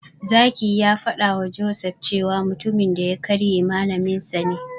Zaki ya faɗawa Joseph cewa mutumin da ya karye Malaminsa ne.